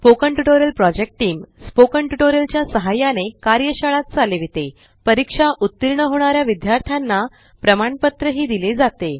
spoken tutorial project team spoken tutorial च्या सहाय्याने कार्यशाळा चालवितेपरीक्षेत उत्तीर्ण होणाऱ्या विद्यार्थ्यांना प्रमाणपत्र दिले जाते